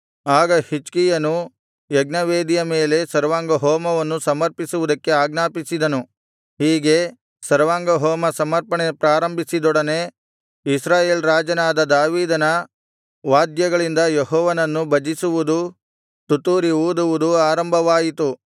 ಆಗ ಹಿಜ್ಕೀಯನು ಯಜ್ಞವೇದಿಯ ಮೇಲೆ ಸರ್ವಾಂಗಹೋಮವನ್ನು ಸಮರ್ಪಿಸುವುದಕ್ಕೆ ಆಜ್ಞಾಪಿಸಿದನುಹೀಗೆ ಸರ್ವಾಂಗಹೋಮ ಸಮರ್ಪಣೆ ಪ್ರಾರಂಭಿಸಿದೊಡನೆ ಇಸ್ರಾಯೇಲ್ ರಾಜನಾದ ದಾವೀದನ ವಾದ್ಯಗಳಿಂದ ಯೆಹೋವನನ್ನು ಭಜಿಸುವುದೂ ತುತ್ತೂರಿ ಊದುವುದೂ ಆರಂಭವಾಯಿತು